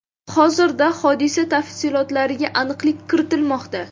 Hozirda hodisa tafsilotlariga aniqlik kiritilmoqda.